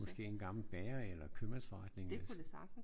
Måske en gammel bager eller købmandsforretning